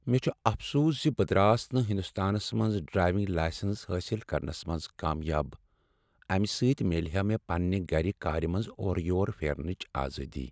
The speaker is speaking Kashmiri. مےٚ چھ افسوس ز بہٕ دراس نہٕ ہندوستانس منٛز ڈرایونگ لایسنس حٲصل کرنس منز کامیاب۔ امہ سۭتۍ میلہ ہا مےٚ پننہ گرٕ کارِ منز اورہ یور پھیرنچ آزادی۔